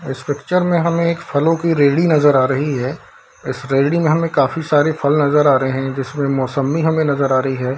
इस पिक्चर में हमें एक फलो की रैली नजर आ रही है इस रैली में हमें काफी सारे फल नजर आ रहे है जिसमे मोसम्मी हमें नजर आ रही है।